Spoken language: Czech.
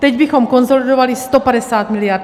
Teď bychom konsolidovali 150 mld.